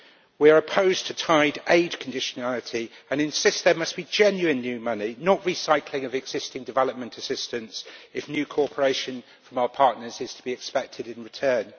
We are opposed to tied aid conditionality and insist there must be genuine new money, not recycling of existing development assistance, if new cooperation from our partners is to be expected in return.